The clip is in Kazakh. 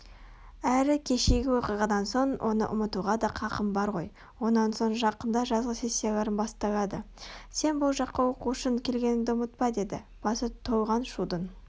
Әрі кешегі оқиғадан соң оны ұмытуға да қақым бар ғой онан соң жақында жазғы сессияларың басталады сен бұл жаққа оқу үшін келгеніңді ұмытпа деді басы толған шудың